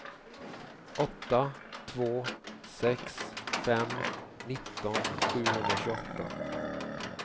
åtta två sex fem nitton sjuhundratjugoåtta